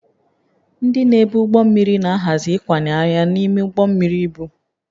Ndị na-ebu ụgbọ mmiri na-ahazi ịkwanye arịa n'ime ụgbọ mmiri ibu